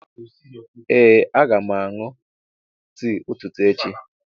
Ee a ga m aṅụ tii ụtụtụ echi.